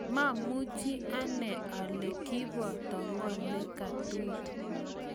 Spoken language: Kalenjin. maamuch ani ale kiboto ng'o ne katui